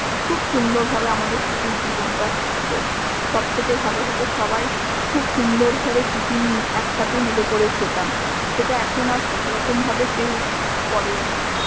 খুব সুন্দর ভাবে আমাদের school এর জীবণটা ছিল সব থেকে ভালো হত সবাই খুব সুন্দর করে tiffin একসাথে মিলে করে খেতাম সেটা এখ্ন আর এরখ্ম ভাবে কেউ করেও না